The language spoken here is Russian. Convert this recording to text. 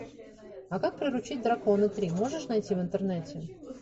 а как приручить дракона три можешь найти в интернете